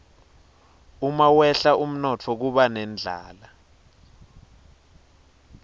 umawehla umnotfo kuba nendlala